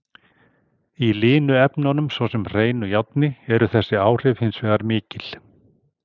Í linu efnunum, svo sem hreinu járni, eru þessi áhrif hins vegar mikil.